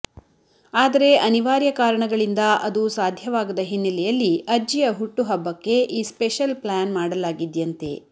ಆದರೆ ಅನಿರ್ವಾರ್ಯ ಕಾರಣಗಳಿಂದ ಅದು ಸಾಧ್ಯವಾಗದ ಹಿನ್ನಲೆಯಲ್ಲಿ ಅಜ್ಜಿಯ ಹುಟ್ಟುಹಬ್ಬಕ್ಕೆ ಈ ಸ್ಪೆಷಲ್ ಪ್ಲಾನ್ ಮಾಡಲಾಗಿದ್ಯಂತೆ